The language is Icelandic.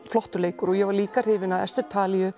flottur leikur og ég var líka hrifin af Esther